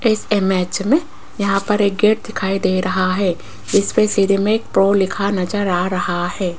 इस इमेज में यहां पर एक गेट दिखाई दे रहा है जिसपे सिरे में एक प्रो लिखा नजर आ रहा है।